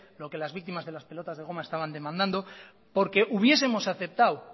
lo que las víctimas de las pelotas de goma estaban demandando